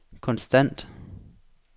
konstant